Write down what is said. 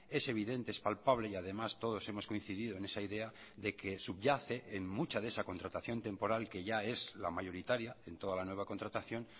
es evidente es palpable y además todos hemos coincidido en esa idea de que subyace en mucha de esa contratación temporal que ya es la mayoritaria en toda la nueva contratación